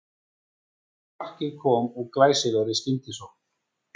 Markið kom úr glæsilegri skyndisókn